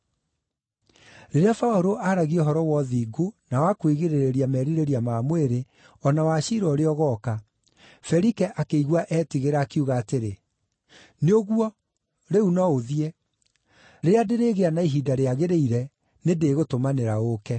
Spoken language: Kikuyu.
Rĩrĩa Paũlũ aaragia ũhoro wa ũthingu, na wa kwĩgirĩrĩria merirĩria ma mwĩrĩ, o na wa ciira ũrĩa ũgooka, Felike akĩigua etigĩra, akiuga atĩrĩ, “Nĩ ũguo! Rĩu no ũthiĩ. Rĩrĩa ndĩrĩgĩa na ihinda rĩagĩrĩire, nĩndĩgũtũmanĩra ũũke.”